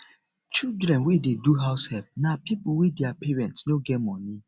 children wey dey do househelp na pipo wey their parents no get money